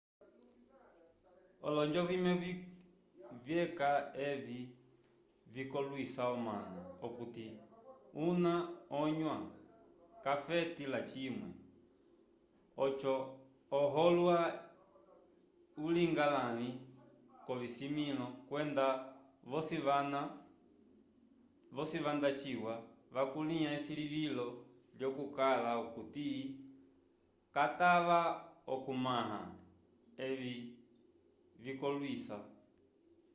olonjo vimwe vyeca evi vikolwisa omanu okuti una onyua k'afeti lacimwe oco uholwa ulinga lãvi k'ovisimĩlo kwenda vosi vanda ciwa vakulĩha esilivilo lyokukala okuti katava okumãha evi vikolwisa